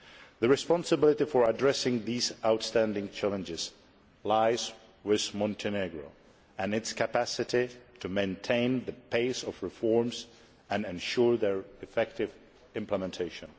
The responsibility for addressing these outstanding challenges lies with Montenegro and its capacity to maintain the pace of reforms and ensure their effective implementation.